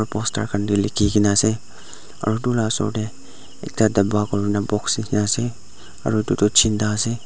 poster khan tae likhikaena ase edu la osor tae ekta dapa kurina box aru edu toh chinda ase.